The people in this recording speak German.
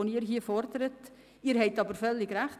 Was Sie hier fordern, wird schon gemacht.